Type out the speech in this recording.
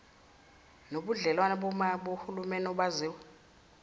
nobudlelwane bohulumeni obaziwa